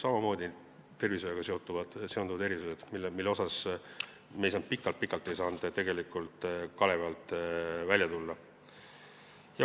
Samamoodi on tervishoiuga seonduvad erandid, mida me pikalt-pikalt ei saanud kalevi alt välja tuua.